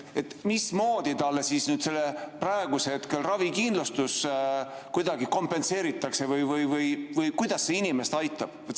Mismoodi talle siis praegusel hetkel ravikindlustus kuidagi kompenseeritakse või kuidas see inimest aitab?